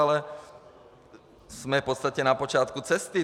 Ale jsme v podstatě na počátku cesty.